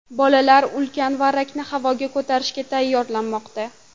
Bolalar ulkan varrakni havoga ko‘tarishga tayyorlanmoqda.